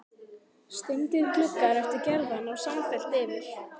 Steindir gluggar eftir Gerði ná samfellt yfir